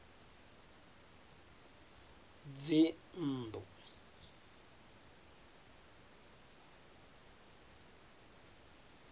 dzinnḓu